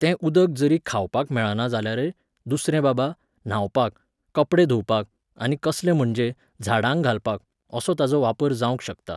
तें उदक जरी खावपाक मेळाना जाल्यारय, दुसरें बाबा, न्हांवपाक, कपडे धुंवपाक आनीक कसलें म्हणजे, झाडांक घालपाक, असो ताजो वापर जावंक शकता.